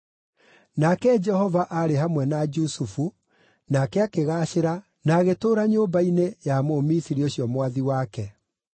Nake Jehova aarĩ hamwe na Jusufu, nake akĩgaacĩra, na agĩtũũra nyũmba-inĩ ya Mũmisiri ũcio mwathi wake.